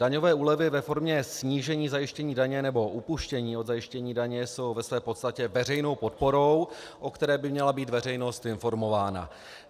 Daňové úlevy ve formě snížení zajištění daně nebo upuštění od zajištění daně jsou ve své podstatě veřejnou podporou, o které by měla být veřejnost informována.